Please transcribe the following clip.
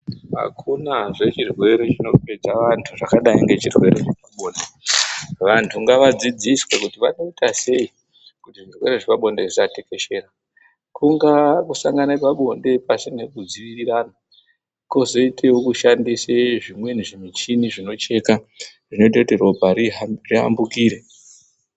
Hakunazve chirwere chinopedza vantu zvakadai nechirwere chepabonde. Vantu ngavadzidziswe kuti vanoita sei kuti zvirwere zvepabonde zvisatekeshera. Kungaa kusangana pabonde pashina kudziirirana kozoitawo kushandisa zvinweni zvimichini zvinocheka zvinoita kuti ropa riambukire.